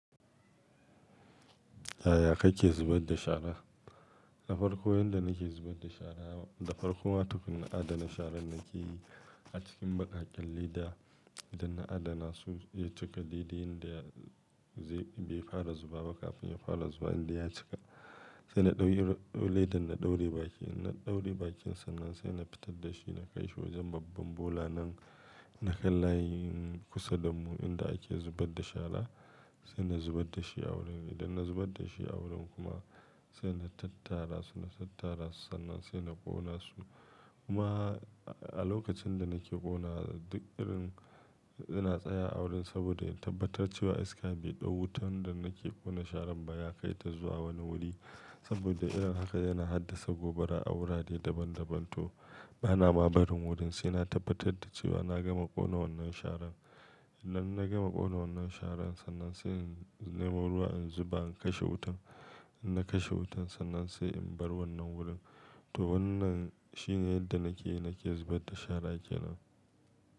Aya kai ke zubar da shara. Na farko yanda nake zubar da shara, na farko matukin na adana sharan nake yi a cikin baƙaƙen leda, da na adana su ya cika ledan da zai bai fara zuba ba kafin ya fara zuba inda ya cika. Sai na ɗauki ledan na ɗauri baki, na ɗauri bakinsa nan sai na fitar da shi na kai shi wajen babban bola nan, na kalla kusa da mu inda ake zubar da shara sai na zubar da shi a wurin. Idan na zubar da shi a wurin kuma sai na tattara su, na tattara su sannan sai na ƙona su. Kuma a lokacin da nake kola duk irin ina tsaya a wurin saboda in tabbatar cewa iska bai ɗau wutan da nake ƙona sharan ba ya kai ta zuwa wani wuri saboda irin haka yana haddasa gobara a wurare daban daban to bana ma barin wurin sai na tabbatar da cewa na gama ƙona wannan sharan. Idan na gama ƙona wannan sharan sannan sai in nemo ruwa in zuba in kashe wutan. In na kashe wutan sannan sai in bar wannan wurin. To wannan shine yadda nake yi nake zubar da shara kenan.